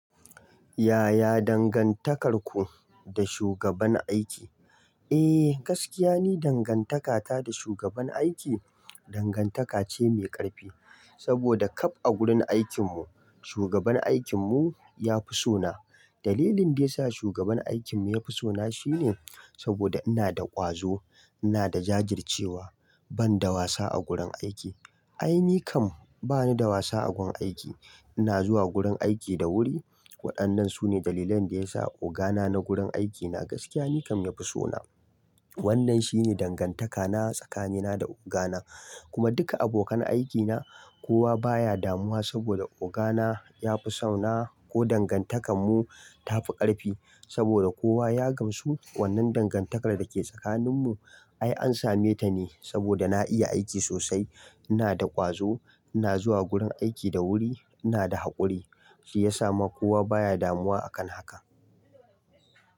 Yaya dangantakarku da shugaban aiki? Eh, gaskiya ne dangantaka ta da shugaban aiki dangantaka ce mai ƙarfi. Saboda ƙab a gurin aikinmu shugaban aikinmu ya fi so na. Dalilin da ya sa shugaban aikinmu ya fi so na shine saboda ina da ƙwazo, ina da jajircewa, ban da wasa a gurin aiki. Ai, ni kam bani da wasa a gun aiki. Ina zuwa gurin aiki da wuri. Waɗannan su ne dalilan da ya sa ogana na gurin aiki na gaskiya ni kam ya fi so na. Wannan shi ne dangantakana tsakanina da ogana kuma duka abokan aikina kowa baya damuwa saboda ogana ya fi so na ko dangantakanmu ta fi ƙarfi saboda kowa ya gamsu wannan dangantakar da ke tsakaninmu. Ai, an same ta ne saboda na iya aiki sosai, ina da ƙwazo, ina zuwa gurin aiki da wuri, ina da haƙuri, shi ya sa ma kowa baya damuwa a kan haka.